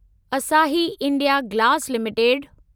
असाही India glass limited